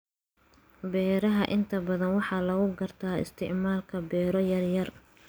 beeraha inta badan waxaa lagu gartaa isticmaalka beero yaryar.